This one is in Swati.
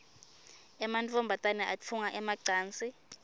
emantfombane atfunga emacansi